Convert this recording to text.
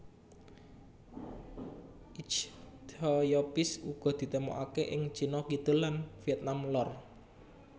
Ichthyophis uga ditemokaké ing Cina Kidul lan Vietnam lor